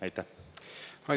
Aitäh!